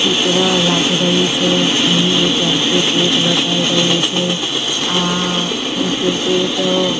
ચિત્ર લાગી રહ્યું છે અહીં એક એન્ટ્રી ગેટ બતાવી રહ્યું છે આ ઇન્સ્ટિટયૂટ --